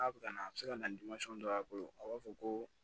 K'a bɛ na a bɛ se ka na dɔ a bolo a b'a fɔ ko